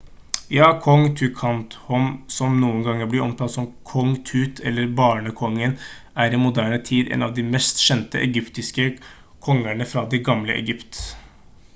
ja! kong tutankhamon som noen ganger blir omtalt som «kong tut» eller «barnekongen» er i moderne tid en av de mest kjente egyptiske kongere fra det gamle egypt